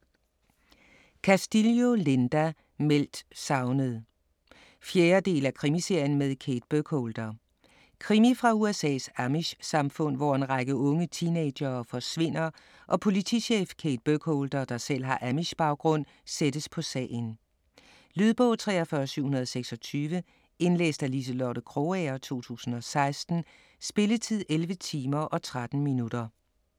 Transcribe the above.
Castillo, Linda: Meldt savnet 4. del af Krimiserien med Kate Burkholder. Krimi fra USA's amish-samfund, hvor en række unge teenagere forsvinder og politichef Kate Burkholder, der selv har amish-baggrund, sættes på sagen. . Lydbog 43726 Indlæst af Liselotte Krogager, 2016. Spilletid: 11 timer, 13 minutter.